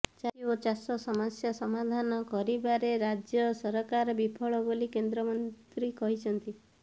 ଚାଷୀ ଓ ଚାଷ ସମସ୍ୟା ସମାଧାନ କରିବାରେ ରାଜ୍ୟ ସରକାର ବିଫଳ ବୋଲି କେନ୍ଦ୍ରମନ୍ତ୍ରୀ କହିଛନ୍ତି